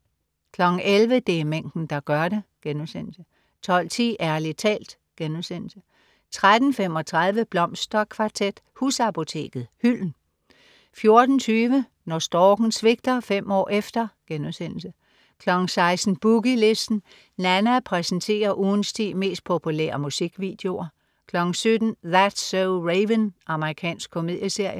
11.00 Det er mængden, der gør det* 12.10 Ærlig talt* 13.35 Blomsterkvartet, husapoteket: Hylden 14.20 Når storken svigter: Fem år efter* 16.00 Boogie Listen. Nanna præsenterer ugens ti mest populære musikvideoer 17.00 That's so Raven. Amerikansk komedieserie